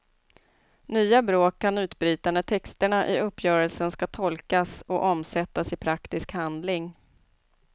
Nya bråk kan utbryta när texterna i uppgörelsen ska tolkas och omsättas i praktisk handling.